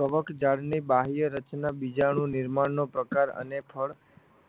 કવકજાળની બાહ્ય રચના બીજા અણુઓના નિર્માણનો પ્રકાર અને ફળ